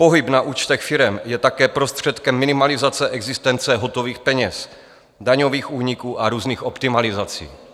Pohyb na účtech firem je také prostředkem minimalizace existence hotových peněz, daňových úniků a různých optimalizací.